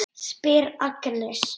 spyr Agnes.